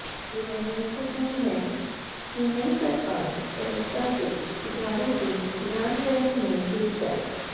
यह महत्त्वपूर्ण है कि नई सरकार सहजता से सुधारों के क्रियान्वयन में जुट जाए